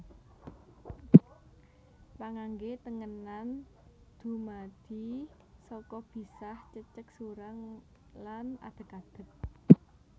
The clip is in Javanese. Pangangge tengenan dumadi saka bisah cecek surang lan adeg adeg